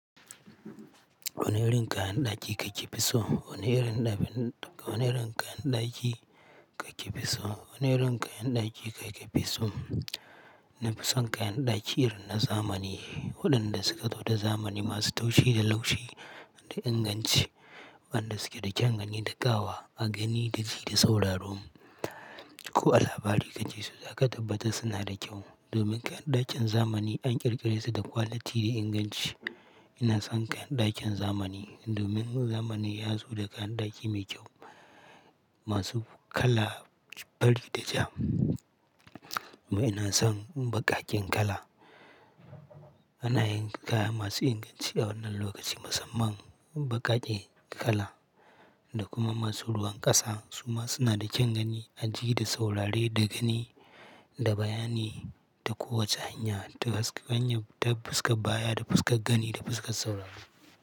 Wane irin kayan ɗaki kake fi so? Wane irin kayan ɗaki kake fi so? Wane irin kayan ɗaki kake fi so? Na fi son kayan ɗaki irin na zamani waɗanda suka zo da zamani masu taushi da laushi da inganci, waɗanda suke da kyan gani da ƙawa a gani da ji da sauraro. Ko a labari kake so za ka tabbatar suna da kyau. Domin kayan ɗakin zamani an ƙirƙire su da kwaliti da inganci. Ina son kayan ɗakin zamani domin zamani ya zo da kayan ɗaki mai kyau masu kala fari da ja. Amma ina son baƙaƙen kala. Ana yin kaya masu inganci a wannan lokaci musamman baƙaƙe kala da kuma masu ruwan ƙasa. Su ma suna da kyan gani, aji da saurare da gani da bayani ta kowace hanya ta fuskar baya, da fuskar gani, da fuskar sauraro.